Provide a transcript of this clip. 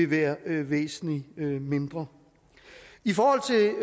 være væsentlig mindre i forhold